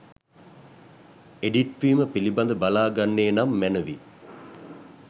Edit වීම පිලිබඳ බලා ගන්නේ නම් මැනවි.